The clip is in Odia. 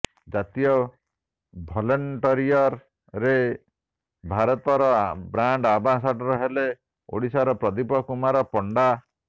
ଜାତୀୟ ଭଲେଣ୍ଟୟିଅର ରେ ଭାରତ ର ବ୍ରାଣ୍ଡ ଆମ୍ବାସଡ଼ର ହେଲେ ଓଡ଼ିଶାର ପ୍ରଦୀପ କୁମାର ପଣ୍ଡା